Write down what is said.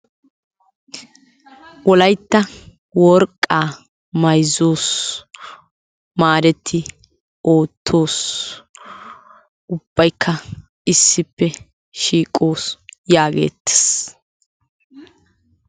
Wolaytta worqqaa mayzzos maadetti oottos ubbayikka issippe shiiqos yaageettes.